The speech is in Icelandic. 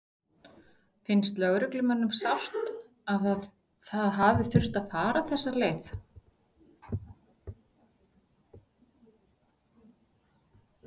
Finnst lögreglumönnum sárt að það hafi þurft að fara þessa leið?